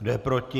Kdo je proti?